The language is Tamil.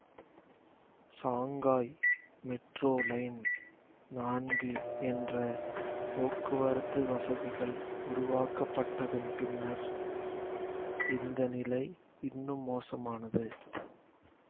சாங்காய் மெட்ரோ லைன் நான்கு என்ற போக்குவரத்து வசதிகள் உருவாக்கப்பட்டதன் பின்னர் இந்த நிலை இன்னும் மோசமானது